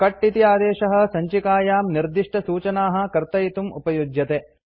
cut इति आदेशः सञ्चिकायां निर्दिष्टसूचनाः कर्तयितुम् उपयुज्यते